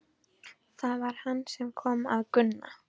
Það var hann sem kom að Gunna.